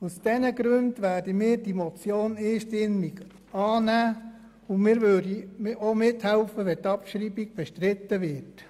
Aus diesen Gründen werden wir diese Motion einstimmig annehmen und wir würden auch mithelfen, wenn die Abschreibung bestritten würde.